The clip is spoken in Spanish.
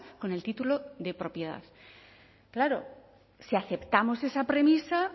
con el título de propiedad claro si aceptamos esa premisa